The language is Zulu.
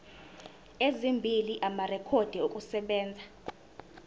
ezimbili amarekhodi okusebenza